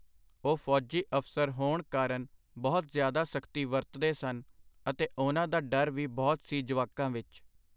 ਉਹ ਫੌਜੀ ਅਫ਼ਸਰ ਹੋਣ ਕਾਰਨ ਬਹੁਤ ਜਿਆਦਾ ਸਖਤੀ ਵਰਤਦੇ ਸਨ ਅਤੇ ਉਹਨਾਂ ਦਾ ਡਰ ਵੀ ਬਹੁਤ ਸੀ ਜਵਾਕਾਂ ਵਿੱਚ.